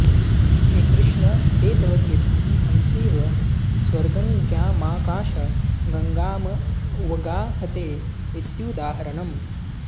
हे कृष्ण ते तव कीर्तिः हंसीव स्वर्गङ्गामाकाशगङ्गामवगाहते इत्युदाहरणम्